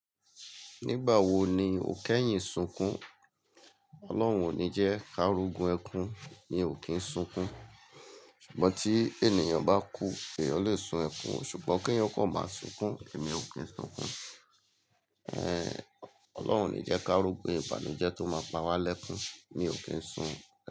Nígbà wo ni òkẹ́yìn sunkún? Ọlọ́run ò ní jẹ́ ká r'ogun ẹkún, mi ò kín sunkún. Ṣùgbọ́n tí ènìyàn bá kú, èèyàn lè sun ẹkún, ṣùgbọ́n kí eeyan kó máa sunkún, èmi ò kín sunkún. Ọlọ́run ò ní jẹ́ ká r'ogun ìbànújẹ́ tó máa pa wá lẹ́kún, mi ò kín sun.